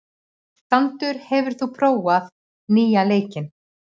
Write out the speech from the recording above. Sandur, hefur þú prófað nýja leikinn?